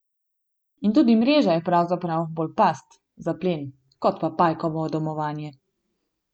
In tudi mreža je pravzaprav bolj past za plen kot pa pajkovo domovanje.